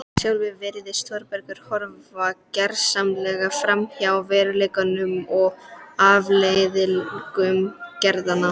Sjálfur virðist Þórbergur horfa gersamlega framhjá veruleikanum og afleiðingum gerðanna.